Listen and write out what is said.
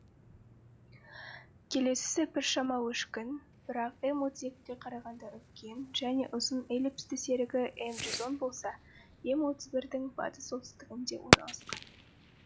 келесісі біршама өшкін бірақ м отыз екіге қарағанда үлкен және ұзын эллипсті серігі м жүз он болса м отыз бірдің батыс солтүстігіне орналасқан